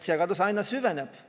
Segadus aina süveneb.